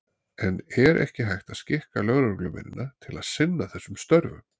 En er ekki hægt að skikka lögreglumennina til að sinna þessum störfum?